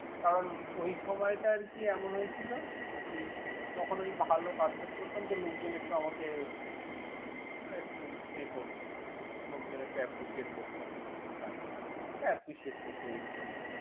কারন ওই সময়টা আরকি এমন হয়েছিল। ঔ তখন আমি একটু ভালো কাজ টাজ করতাম তো লোকজন একটু আমাকে ইয়ে করত লোকজন appreciate করত। appreciate করত basically ।